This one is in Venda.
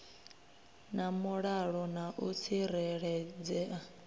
na mulalo na u tsireledzea